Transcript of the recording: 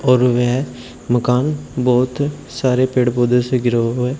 और वह मकान बहुत सारे पेड़ पौधे से गिरा हुआ हैं।